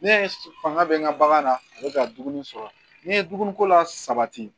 Ne ye fanga bɛ n ka bagan na ne bɛ ka dumuni sɔrɔ ni ye dumuniko la sabati